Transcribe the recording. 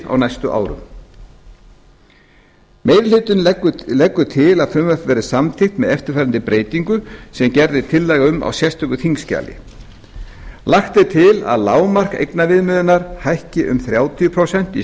á næstu árum meiri hlutinn leggur til að frumvarpið verði samþykkt með eftirfarandi breytingum sem gerð er tillaga um í sérstöku þingskjali fyrstu lagt er til að lágmark eignaviðmiðunar hækki um þrjátíu prósent í